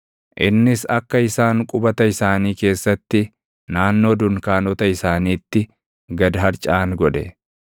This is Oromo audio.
Innis akka isaan qubata isaanii keessatti naannoo dunkaanota isaaniitti gad harcaʼan godhe.